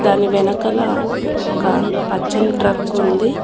దాని వెనకల ఒక పచ్చని ట్రక్ ఉంది.